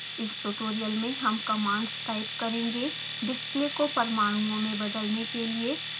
इस ट्यूटोरियल में हम कमांड्स टाइप करेंगे display को परमाणुओं में बदलने के लिए